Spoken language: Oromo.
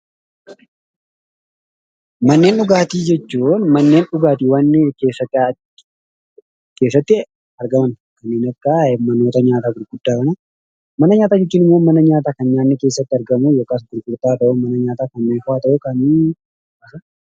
Manneen dhugaatii jechuun manneen dhugaatiin keessatti argaman manoota nyaataa gurguddaa kanaa dha. Mana nyaataa jechuun immoo mana nyaataa kan nyaanni keessatti argamuu dha.